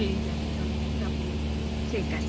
বেরিয়ে যাবো চলো shopping এ ঠিক আছে